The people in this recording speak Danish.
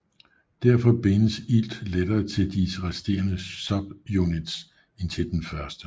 Derfor bindes ilt lettere til de resterende subunits end til den første